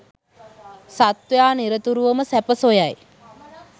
සත්වයා නිරතුරුවම සැප සොයයි